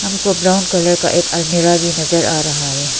हमको brown colour का एक अलमीरा भी नजर आ रहा है।